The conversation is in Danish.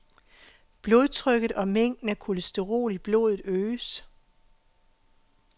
Blodtrykket og mængden af kolesterol i blodet øges.